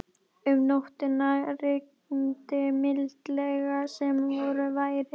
Um nóttina rigndi mildilega sem vor væri.